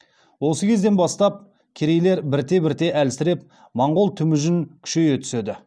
осы кезден бастап керейлер бірте бірте әлсіреп монғол темүжін күшейе түседі